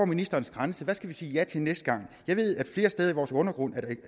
ministerens grænse hvad skal vi sige ja til næste gang jeg ved der flere steder i vores undergrund